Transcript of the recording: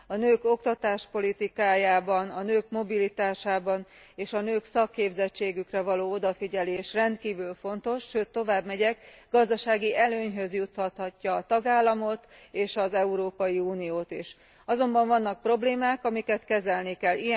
A nők oktatáspolitikájára, a nők mobilitására és a nők szakképzettségére való odafigyelés rendkívül fontos, sőt, továbbmegyek, gazdasági előnyhöz juttathatja a tagállamot, és az Európai Uniót is, azonban vannak problémák, amiket kezelni kell.